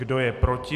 Kdo je proti?